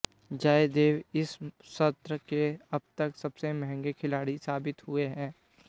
जयदेव इस सत्र के अब तक सबसे महंगे खिलाड़ी साबित हुए हैं